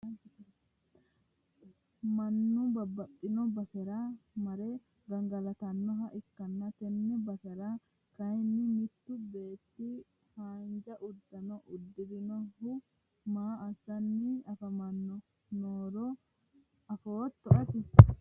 mannu babaxino basera mare gangalatannoha ikkanna, tenne basera kayiinni mittu beetti haanja uddano uddirinohu maa assanni afamanni noohoro afootto ati?